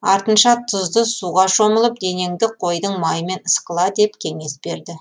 артынша тұзды суға шомылып денеңді қойдың майымен ысқыла деп кеңес берді